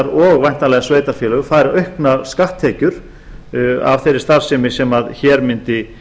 og væntanlega sveitarfélög fá auknar skatttekjur af þeirri starfsemi sem hér mundi